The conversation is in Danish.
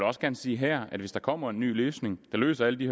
også gerne sige her at hvis der kommer en ny løsning der løser alle de